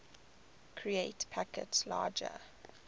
create packets larger